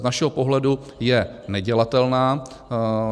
Z našeho pohledu je nedělatelná.